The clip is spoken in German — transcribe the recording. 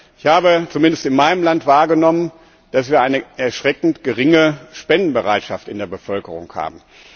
Ich habe zumindest in meinem Land wahrgenommen, dass wir eine erschreckend geringe Spendenbereitschaft in der Bevölkerung haben.